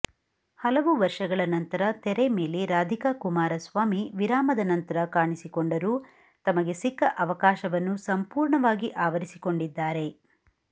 ಹಲವು ವರ್ಷಗಳ ನಂತರ ತರೆ ಮೇಲೆ ರಾಧಿಕಾ ಕುಮಾರಸ್ವಾಮಿ ವಿರಾಮದ ನಂತರ ಕಾಣಿಸಿಕೊಂಡರೂ ತಮಗೆ ಸಿಕ್ಕ ಅವಕಾಶವನ್ನು ಸಂಪೂರ್ಣವಾಗಿ ಆವರಿಸಿಕೊಂಡಿದ್ದಾರೆ